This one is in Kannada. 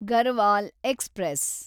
ಗರ್ವಾಲ್ ಎಕ್ಸ್‌ಪ್ರೆಸ್